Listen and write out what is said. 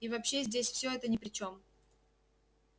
и вообще здесь все это ни при чем